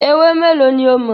Ewé mélòó ní o mọ̀?